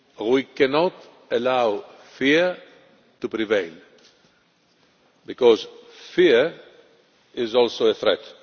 We cannot allow fear to prevail, because fear is also a threat.